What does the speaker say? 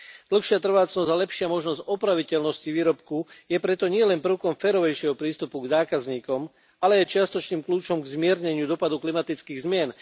Dlhšia trvácnosť a lepšia možnosť opraviteľnosti výrobku je preto nielen prvkom férovejšieho prístupu k zákazníkom, ale aj čiastočným kľúčom k zmierneniu dopadu klimatických zmien.